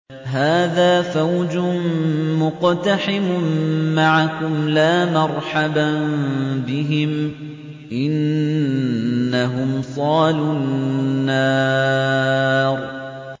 هَٰذَا فَوْجٌ مُّقْتَحِمٌ مَّعَكُمْ ۖ لَا مَرْحَبًا بِهِمْ ۚ إِنَّهُمْ صَالُو النَّارِ